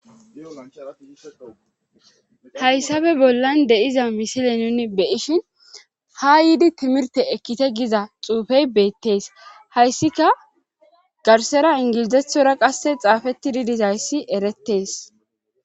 hayssafe bollan de7iza misile nuni beyishin ha yiidi timirte ekkite giza xuufey beettees hayssika garsera ingilizethora qasse xaafetti didis hayssi erettees